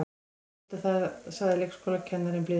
Viltu það sagði leikskólakennarinn blíðlega.